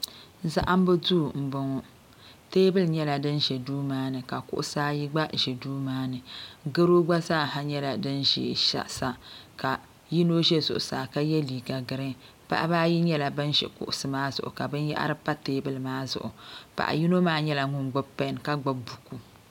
Zahimbu duu m boŋɔ teebuli nyɛla din ʒɛ duu maa ni ka kuɣusi ayi gba ʒɛ duu maani garo gba nyɛla din ʒɛ kpe sa ka yino ʒɛya ka ye liiga girin paɣaba ayi nyɛla ban ʒi kuɣusi maa zuɣu ka binyahiri pa teebuli maa zuɣu paɣa yino maa nyɛla ŋun gbibi pen ka gbibi buku .